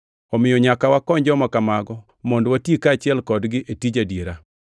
Omiyo nyaka wakony joma kamago, mondo wati kaachiel kodgi e tij adiera.